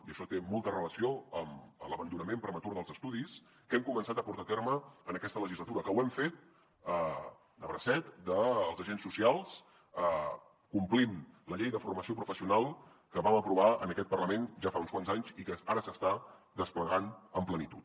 i això té molta relació amb l’abandonament prematur dels estudis que hem començat a portar a terme en aquesta legislatura que ho hem fet de bracet dels agents socials complint la llei de formació professional que vam aprovar en aquest parlament ja fa uns quants anys i que ara s’està desplegant amb plenitud